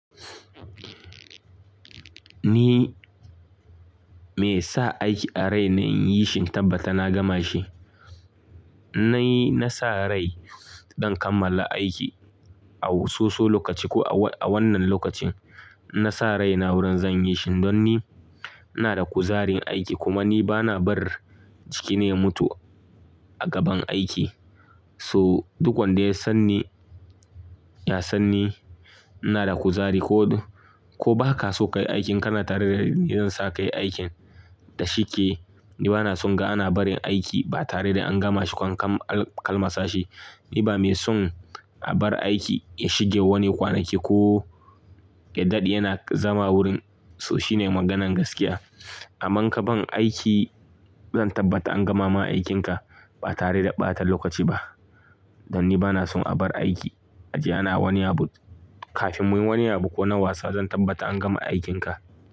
Ni me sa aiki a rai na yin shinkarɓata na gama shi. Na yi, na sa rai ɗan kammala aiki a soso lokaci ko a wannan lokacin. Na sa rai na wurin zan yi shi don ni ina da kuzarin aiki kuma ni ba na bar jikina ya mutu a gaban aiki. So duk wanda ya san ni, ya san ni ina da kuzari ko, ko ba ka so ka yi aikin ka na tare da ni zan sa ka yi aikin da shike. Ni ba na son ga ana barin aiki ba tare da an gama shi ko an kalma sashi. Ni ba mai son a bar aiki ya shige wani kwanaki ko ya daɗe yana zama wurin. So shine maganan gaskiya. A man ka ban aiki zan tabbata an gama ma aikinka ba tare da ɓatan lokaci ba. Don ni ba na son a bar aiki a ji ana wani abu. Kafin muyi wani abu ko na wasa zan tabbata an gama aikinka.